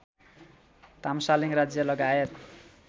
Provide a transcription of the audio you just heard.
तामसालीङ राज्य लगायत